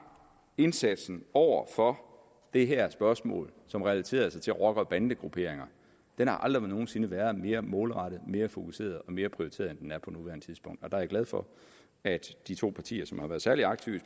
indsatsen over for det her spørgsmål som relaterer sig til rocker og bandegrupperinger aldrig nogen sinde været mere målrettet mere fokuseret og mere prioriteret end den er på nuværende tidspunkt der er jeg glad for at de to partier som har været særlig aktive